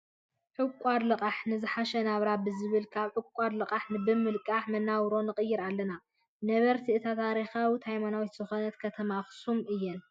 ዕቋርን ልቃሕን ንዝሓሸ ናብራ ብዝብል ካብ ዕቋርን ልቃሕን ብምልቃሕ መናባብሮና ንቅይር ኣለና። ነበርቲ እታ ታሪካዊትን ሃይማኖታዊት ዝኮነት ከተማ ኣከሱም እየን ።